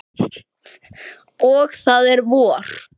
Og það er vor.